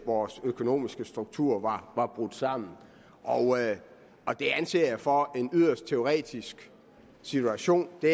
vores økonomiske struktur var brudt sammen og det anser jeg for at være en yderst teoretisk situation det